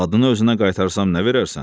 Adını özünə qaytarsam nə verərsən?